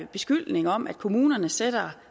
beskyldning om at kommunerne sætter